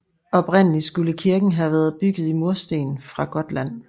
Oprindelig skulle kirken have været bygget i mursten fra Gotland